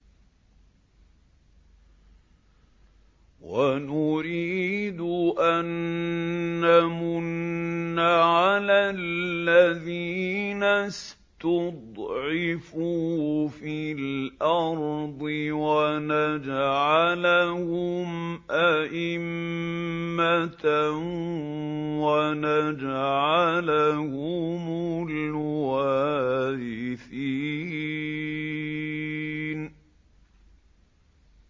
وَنُرِيدُ أَن نَّمُنَّ عَلَى الَّذِينَ اسْتُضْعِفُوا فِي الْأَرْضِ وَنَجْعَلَهُمْ أَئِمَّةً وَنَجْعَلَهُمُ الْوَارِثِينَ